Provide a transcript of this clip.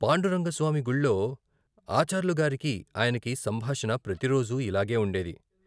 పాండురంగస్వామి గుళ్ళో ఆచార్లుగారికి ఆయనకి సంభాషణ ప్రతిరోజు ఇలాగే ఉండేది.